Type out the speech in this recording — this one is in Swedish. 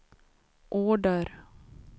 order